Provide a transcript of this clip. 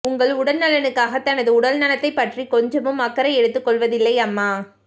உங்கள் உடல்நலனுக்காக தனது உடல்நலத்தை பற்றி கொஞ்சமும் அக்கறை எடுத்துக் கொள்வதில்லை அம்மா